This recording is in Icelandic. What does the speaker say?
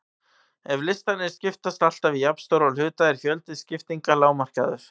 Ef listarnir skiptast alltaf í jafnstóra hluta er fjöldi skiptinga lágmarkaður.